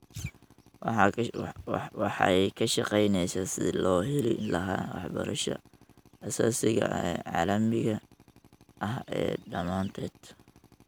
waxay ka shaqaynaysaa sidii loo heli lahaa waxbarashada aasaasiga ah ee caalamiga ah ee dhammaanteed.